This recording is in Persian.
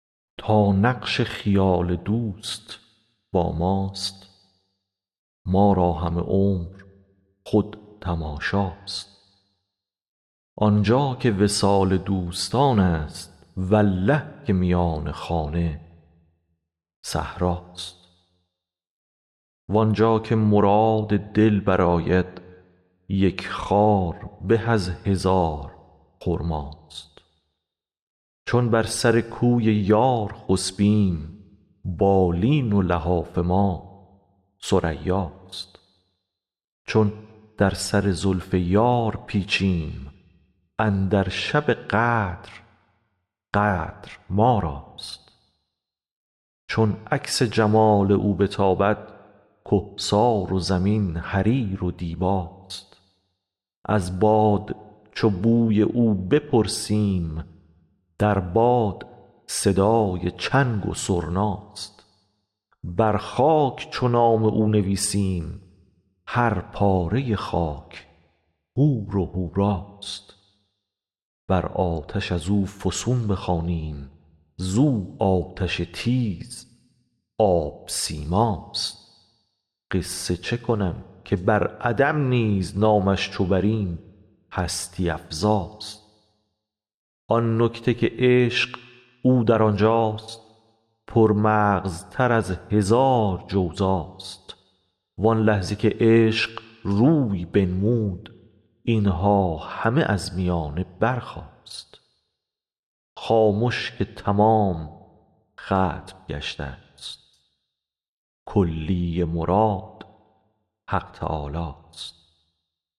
تا نقش خیال دوست با ماست ما را همه عمر خود تماشاست آن جا که وصال دوستانست والله که میان خانه صحراست وان جا که مراد دل برآید یک خار به از هزار خرماست چون بر سر کوی یار خسبیم بالین و لحاف ما ثریاست چون در سر زلف یار پیچیم اندر شب قدر قدر ما راست چون عکس جمال او بتابد کهسار و زمین حریر و دیباست از باد چو بوی او بپرسیم در باد صدای چنگ و سرناست بر خاک چو نام او نویسیم هر پاره خاک حور و حوراست بر آتش از او فسون بخوانیم زو آتش تیزاب سیماست قصه چه کنم که بر عدم نیز نامش چو بریم هستی افزاست آن نکته که عشق او در آن جاست پرمغزتر از هزار جوزاست وان لحظه که عشق روی بنمود این ها همه از میانه برخاست خامش که تمام ختم گشته ست کلی مراد حق تعالاست